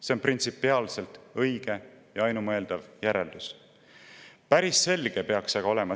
See on printsipiaalselt õige ja ainumõeldav järeldus.